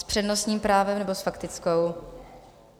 S přednostním právem, nebo s faktickou?